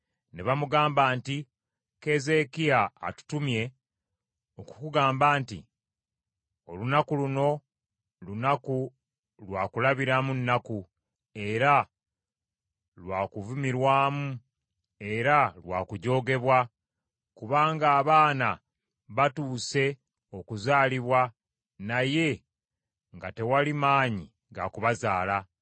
Ne bamugamba nti, “Keezeekiya atutumye okukugamba nti, Olunaku luno lunaku lwa kulabiramu nnaku era lwa kuvumirwamu era lwa kujoogebwa; kubanga abaana batuuse okuzaalibwa naye nga tewali maanyi ga kubazaala.